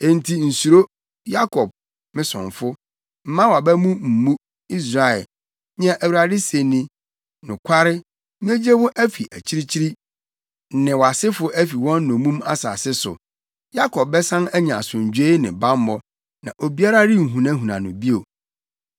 “ ‘Enti nsuro, Yakob, me somfo; mma wʼaba mu mmu, Israel,’ nea Awurade se ni. ‘Nokware, megye wo afi akyirikyiri, ne wʼasefo afi wɔn nnommum asase so. Yakob bɛsan anya asomdwoe ne bammɔ na obiara renhunahuna no bio.